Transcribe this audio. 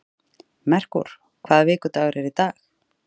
Merkúr, hvaða vikudagur er í dag?